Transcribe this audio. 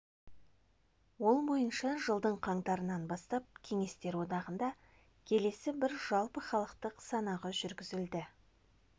ол бойынша жылдың қаңтарынан бастап кеңестер одағында келесі бір жалпыхалықтық санағы жүргізілді